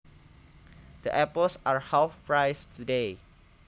The apples are half price today